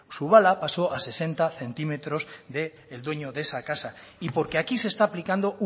su bala pasó a sesenta centímetros del dueño de esa casa y porque aquí se está aplicando